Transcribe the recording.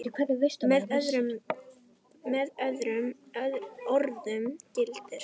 Með öðrum orðum gildir